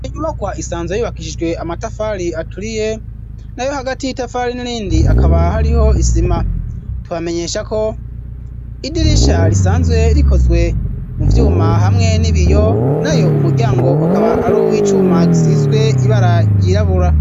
Inybakwa isanzwe yibakishijwe amatafari aturiye na yo hagati y'itafari n'irindi akaba hariho isima tukabamenyesha ko idirisha risanzwe rikozwe mu vyuma hamwe n'ibiyo nayo umuryango akaba ari uw'icuma gisizwe ibara ryirabura.